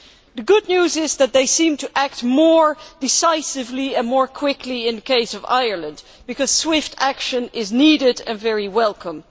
The good news is that they seem to be acting more decisively and more quickly in the case of Ireland, because swift action is needed and very welcome.